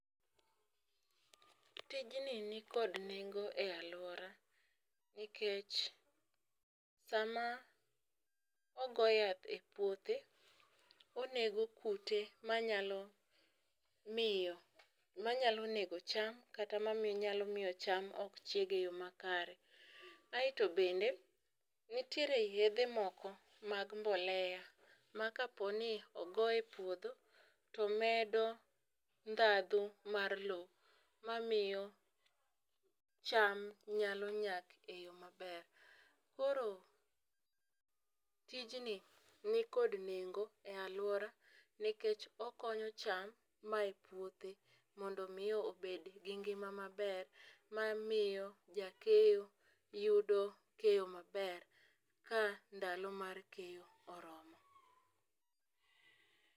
Tijni nikod nengo e aluora nikech sama ogo yath e puothe ,onego kute manyalo miyo, manyalo nego cham kata manyalo miyo cham ok chiegi eyo makare .Aeto bende ntiere yedhe moko mag mbolea ma kaponi ogoye puodho to medo ndhadhu mar lwo mamiyo cham nyalo nyak e yoo maber. Koro tijni nikod nengo e aluora nikech okonyo cham mae puothe mondo mi obed gi ngima maber mamiyo jakeyo yudo keyo maber ka ndalo mar keyo oromo.